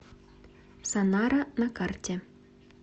санара на карте